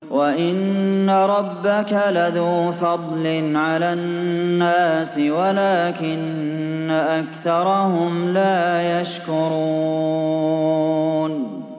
وَإِنَّ رَبَّكَ لَذُو فَضْلٍ عَلَى النَّاسِ وَلَٰكِنَّ أَكْثَرَهُمْ لَا يَشْكُرُونَ